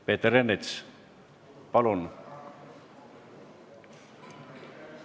Peeter Ernits, palun!